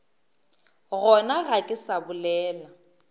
gona ga ke sa bolela